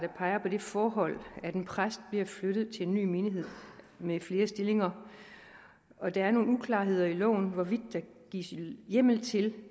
peger på det forhold at en præst bliver flyttet til en ny menighed med flere stillinger og der er nogle uklarheder i lovforslaget om hvorvidt der gives hjemmel til